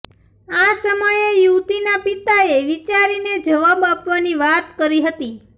આ સમયે યુવતીના પિતાએ વિચારીને જવાબ આપવાની વાત કરી હતી